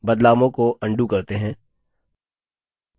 बदलावों को अन्डू करते हैं